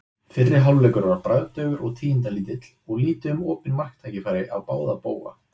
Fyrri hálfleikur var bragðdaufur og tíðindalítill og lítið um opinn marktækifæri á báða bóga.